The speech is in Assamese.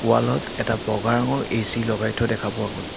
ৱাল ত এটা বগা ৰঙৰ এ_চি লগাই থোৱা দেখা পোৱা গ'ল।